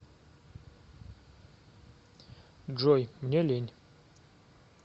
джой мне лень